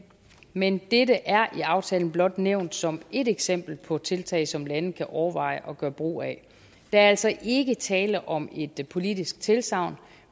men dette er i aftalen blot nævnt som et eksempel på tiltag som lande kan overveje at gøre brug af der er altså ikke tale om et politisk tilsagn